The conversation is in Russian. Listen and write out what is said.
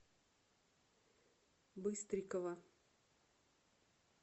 быстрикова